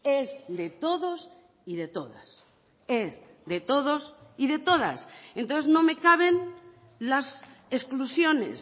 es de todos y de todas es de todos y de todas entonces no me caben las exclusiones